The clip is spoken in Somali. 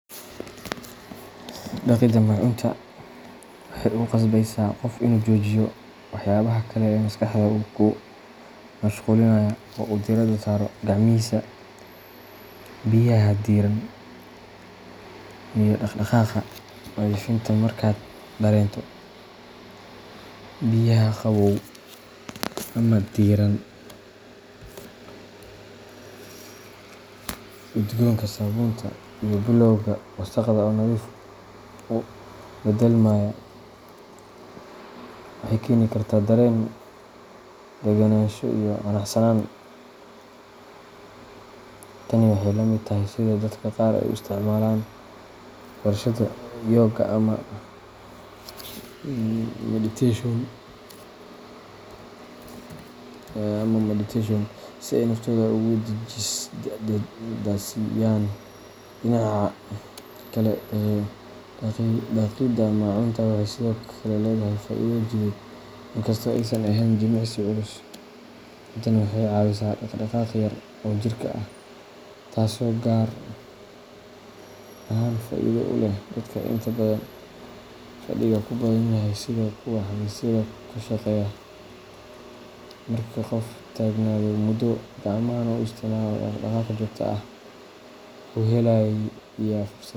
Dhaqidda maacuunta waxay ku qasbeysaa qofka inuu joojiyo waxyaabaha kale ee maskaxda ku mashquulinaya oo uu diiradda, saaro gacmihiisa, biyaha diirran, iyo dhaq dhaqaaqa nadiifinta markaad dareento biyaha qabow ama diirran, udgoonka saabuunta, iyo bilowga wasakhda oo nadiif u beddelmaya, waxay keeni kartaa dareen degganaansho iyo qanacsanaan. Tani waxay la mid tahay sida dadka qaar ay u isticmaalaan barashada yooga ama meditation si ay naftooda ugu nasiiyaan. Dhinaca kale, dhaqidda maacuunta waxay sidoo kale leedahay faa’iido jidheed, inkastoo aysan ahayn jimicsi culus, haddana waxay caawisaa dhaqdhaqaaq yar oo jirka ah, taasoo gaar ahaan faa’iido u leh dadka inta badan fadhiga ku badan yahay sida kuwa xafiisyada ka shaqeeya. Marka qofku taagnaado muddo, gacmahana u isticmaalo dhaq-dhaqaaq joogto ah, wuxuu helayaa fursad.